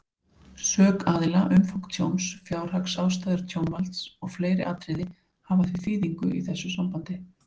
Sök aðila, umfang tjóns, fjárhagsástæður tjónvalds og fleiri atriði hafa því þýðingu í þessu sambandi.